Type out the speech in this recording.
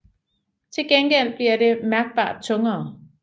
Til gengæld bliver det mærkbart tungere